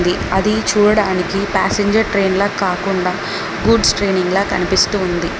అది చూడడానికి ప్యాసింజర్ ట్రెయిన్లా కాకుండ గూడ్స్ ట్రాయిన్లా కనిపిస్తూ ఉంది.